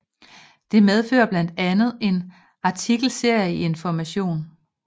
Det medfører blandt andet en artikelserie i Information